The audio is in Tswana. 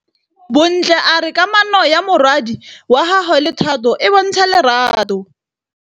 Bontle a re kamanô ya morwadi wa gagwe le Thato e bontsha lerato.